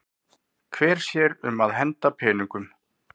Hver sér um að henda peningum?